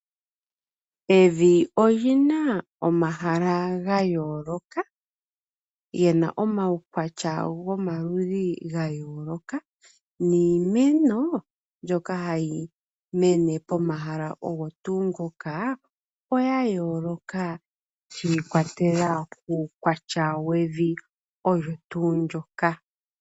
Evi olina omahala gayooloka, gena omaukwatya gomaludhi ga yooloka, niimeno mbyoka hayi mene pomahala ogo tuu ngoka, oya yooloka shiikwatelela kuukwatya wevi olyo tuu ndjoka.